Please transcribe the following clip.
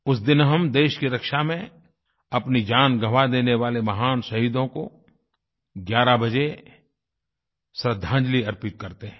उस दिन हम देश की रक्षा में अपनी जान गवां देने वाले महान शहीदों को 11 बजे श्रद्दांजलि अर्पित करते हैं